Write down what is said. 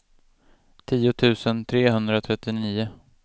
tio tusen trehundratrettionio